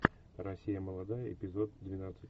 россия молодая эпизод двенадцать